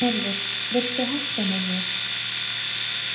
Snorri, viltu hoppa með mér?